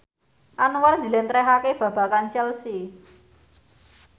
Anwar njlentrehake babagan Chelsea